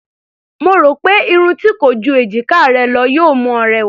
Mo rò pé irun tí kò ju èjiká rẹ lọ yóò mú ọ rẹwà.